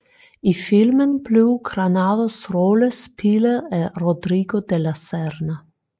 I filmen blev Granados rolle spillet af Rodrigo de la Serna